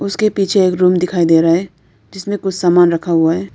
उसके पीछे एक रूम दिखाई दे रहा है जिसमें कुछ सामान रखा हुआ है।